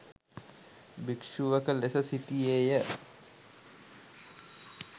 භික්‍ෂුවක ලෙස සිටියේය